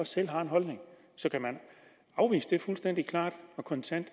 selv har en holdning så kan man afvise det fuldstændig klart og kontant